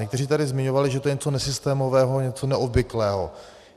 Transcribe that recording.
Někteří tady zmiňovali, že je to něco nesystémového, něco neobvyklého.